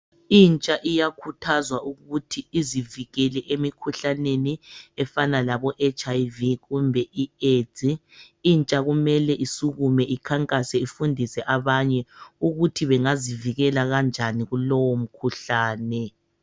Intsha iyakhuthazwa ukuthi izivikele emikhuhlaneni efana labo HIV kumbe iAIDS intsha kumele isukume ikhankasa ifundise abanye ukuthi bengazivikela kanjani kulowo mkhuhlane.